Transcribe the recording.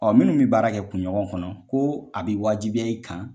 minnu bɛ baara kɛ kun ɲɔgɔn kɔnɔ ko a bɛ waajibiya i kan.